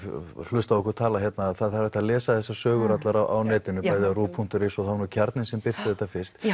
hlusta á okkur tala hérna það er hægt að lesa þessar sögur allar á netinu bæði á ruv punktur is og það var nú Kjarninn sem birti þetta fyrst